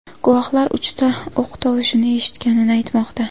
Guvohlar uchta o‘q tovushini eshitganini aytmoqda.